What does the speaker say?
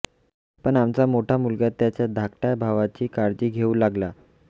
पण आमचा मोठा मुलगा त्याच्या धाकट्या भावाची काळजी घेऊ लागला